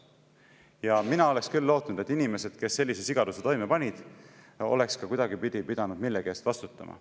Ja mina oleks küll lootnud, et inimesed, kes sellise sigaduse toime panid, oleks ka kuidagipidi pidanud millegi eest vastutama.